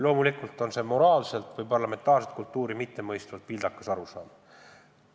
Loomulikult on see moraalselt või parlamentaarset kultuuri mittemõistvalt vildakas arusaam.